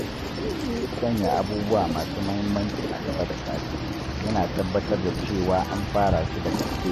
Sanya abubuwa masu mahimmanci a gaba da safe yana tabbatar da cewa an fara su da gaske.